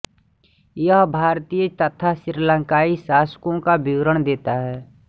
यह भारतीय तथा श्रीलंकाई शासकों का विवरण देता है